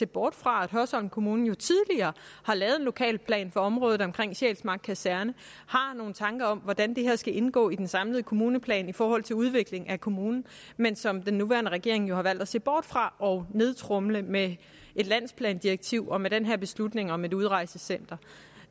bort fra at hørsholm kommune tidligere har lavet en lokalplan for området omkring sjælsmark kaserne og har nogle tanker om hvordan det her skal indgå i den samlede kommuneplan i forhold til udvikling af kommunen men som den nuværende regering har valgt at se bort fra og nedtromle med et landsplandirektiv og med den her beslutning om et udrejsecenter